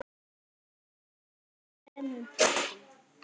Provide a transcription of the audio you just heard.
Ritið er í þremur bindum.